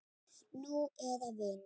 Nú eða vini.